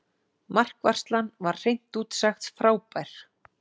Markvarslan var hreint út sagt frábær.